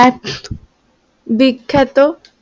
এক বিখ্যাত